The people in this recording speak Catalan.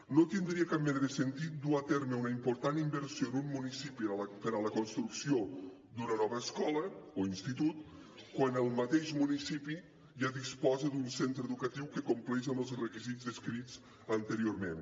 no tindria cap mena de sentit dur a terme una important inversió en un municipi per a la construcció d’una nova escola o institut quan el mateix municipi ja disposa d’un centre educatiu que compleix amb els requisits descrits anteriorment